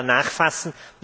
Ich wollte da nachfassen.